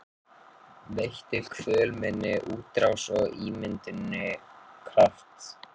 Veittu kvöl minni útrás og ímynduninni kraft.